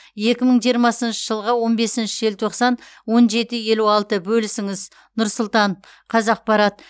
екі мың жиырмасыншы жылғы он бесінші желтоқсан он жеті елу алты бөлісіңіз нұр сұлтан қазақпарат